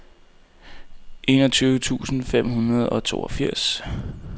enogtyve tusind fem hundrede og toogfirs